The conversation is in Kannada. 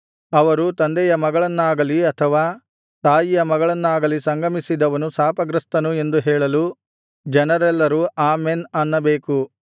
ಅವರು ತಂದೆಯ ಮಗಳನ್ನಾಗಲಿ ಅಥವಾ ತಾಯಿಯ ಮಗಳನ್ನಾಗಲಿ ಸಂಗಮಿಸಿದವನು ಶಾಪಗ್ರಸ್ತನು ಎಂದು ಹೇಳಲು ಜನರೆಲ್ಲರೂ ಆಮೆನ್ ಅನ್ನಬೇಕು